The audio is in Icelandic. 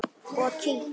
Og kyngt.